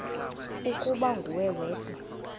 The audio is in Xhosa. ukuba nguwe wedwa